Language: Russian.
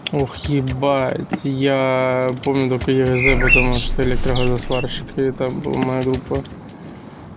ух ты ибать я помню только потому что электрогазосварщик и там был моя группа